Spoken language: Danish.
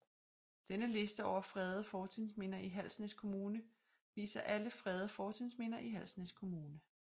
Denne liste over fredede fortidsminder i Halsnæs Kommune viser alle fredede fortidsminder i Halsnæs Kommune